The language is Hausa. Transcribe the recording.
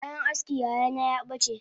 Kayan askin yayana yabace